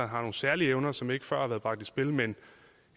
har nogle særlige evner som ikke før har været bragt i spil men